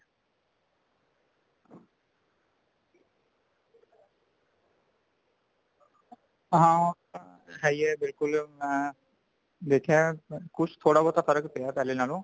ਹਾਂ ਇਹ ਤਾਂ ਹੈ ਹੀ ਹੈ ਬਿਲਕੁਲ ਮੈਂ ਦੇਖਿਆ ਕੁਛ ਥੋੜਾ ਬਹੁਤਾ ਫਰਕ ਪਿਆ ਪਹਿਲੇ ਨਾਲੋਂ